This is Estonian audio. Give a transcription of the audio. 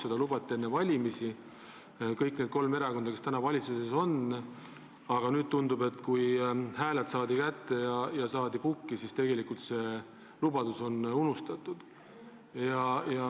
Seda lubasid enne valimisi kõik need kolm erakonda, kes praegu valitsuses on, aga nüüd tundub, et kui hääled saadi kätte ja pääseti pukki, siis on see lubadus unustatud.